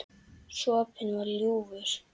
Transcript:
Sopinn var ljúfur.